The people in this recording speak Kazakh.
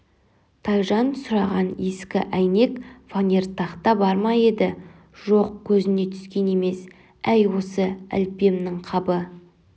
тайжан сұраған ескі әйнек фанер тақта бар ма еді жоқ көзіне түскен емес әй осы әліппемніңқабы